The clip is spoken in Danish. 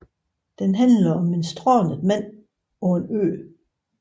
Den handler om en strandet mand på en ø